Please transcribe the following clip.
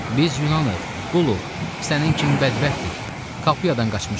Biz Yunanıq, quluq, sənin kimi bədbəxtik, Kapuyadan qaçmışıq.